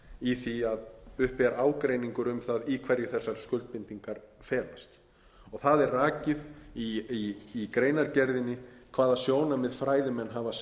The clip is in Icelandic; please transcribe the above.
í því að uppi er ágreiningur um það í hverju þessar skuldbindingar felast það er rakið í greinargerðinni hvaða sjónarmið fræðimenn hafa sett fram